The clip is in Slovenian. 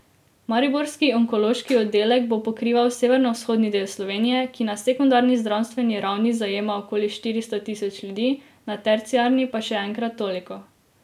Mariborski onkološki oddelek bo pokrival severovzhodni del Slovenije, ki na sekundarni zdravstveni ravni zajema okoli štiristo tisoč ljudi, na terciarni pa še enkrat toliko.